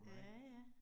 Ja ja